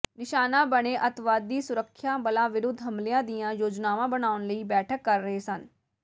ਨਿਸ਼ਾਨਾ ਬਣੇ ਅਤਿਵਾਦੀ ਸੁਰੱਖਿਆ ਬਲਾਂ ਵਿਰੁਧ ਹਮਲਿਆਂ ਦੀਆਂ ਯੋਜਨਾਵਾਂ ਬਣਾਉਣ ਲਈ ਬੈਠਕ ਕਰ ਰਹੇ ਸਨ